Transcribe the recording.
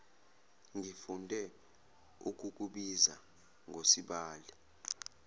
ngifunde ukukubiza ngosibali